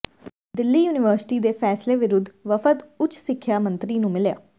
Delhi university ਦੇ ਫੈਸਲੇ ਵਿਰੁੱਧ ਵਫ਼ਦ ਉੱਚ ਸਿੱਖਿਆ ਮੰਤਰੀ ਨੂੰ ਮਿਲਿਆ